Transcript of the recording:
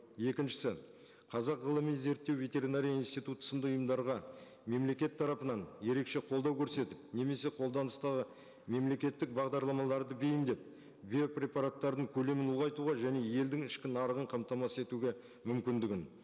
екіншісі қазақ ғылыми зерттеу ветеринария институты сынды ұйымдарға мемлекет тарапынан ерекше қолдау көрсетіп немесе қолданыстағы мемлекеттік бағдарламаларды бейімдеп биопрепараттардың көлемін ұлғайтуға және елдің ішкі нарығын қамтамасыз етуге мүмкіндігін